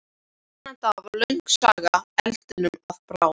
Þennan dag varð löng saga eldinum að bráð.